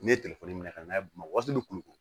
N'i ye minɛ ka na n'a ye waati min kulu ko